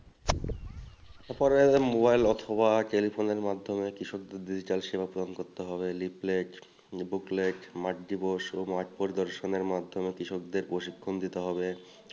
mobile অথবা telephone এর মাধ্যমে কৃষক যদি চায় সেবা প্রোদান করতে হবে leaflet booklet মাটি দিবস ও মাঠ পরি দর্শনের মাধ্যমে কৃষকদের প্রশিক্ষণ দিতে হবে